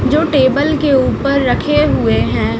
जो टेबल के ऊपर रखे हुए हैं।